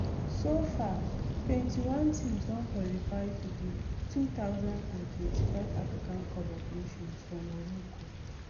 so far twenty-one teams don qualify for di two thousand and twenty-five african cup of nations for morocco